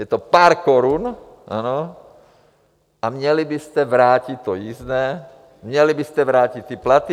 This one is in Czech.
Je to pár korun, ano, a měli byste vrátit to jízdné, měli byste vrátit ty platy.